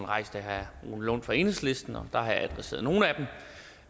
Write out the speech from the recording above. rejst af herre rune lund fra enhedslisten og jeg har adresseret nogle